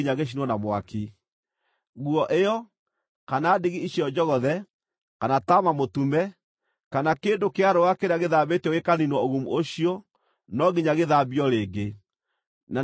Nguo ĩyo, kana ndigi icio njogothe, kana taama mũtume, kana kĩndũ kĩa rũũa kĩrĩa gĩthambĩtio gĩkaniinwo ũgumu ũcio no nginya gĩthambio rĩngĩ, na nĩ gĩgaathirwo nĩ thaahu.”